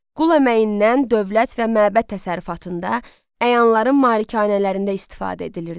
Qul əməyindən dövlət və məbəd təsərrüfatında, əyanların malikanələrində istifadə edilirdi.